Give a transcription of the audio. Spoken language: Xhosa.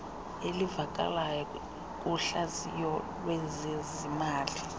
elivakalayo kuhlaziyo lwezezimali